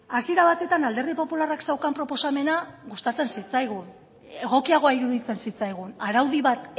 hasiera batetan alderdi popularrak zeukan proposamena gustatzen zitzaigun egokiagoa iruditzen zitzaigun araudi bat